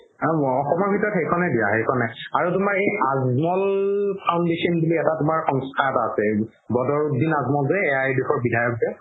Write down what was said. অসমৰ ভিতৰত সেইখনে দিয়া সেইখনে আৰু তুমাৰ এই আৰু আজমল foundation বুলি এটা তুমাৰ এটা সংস্থা বদৰুদ্দিন আজমল যে AIUDF বিধায়ক যে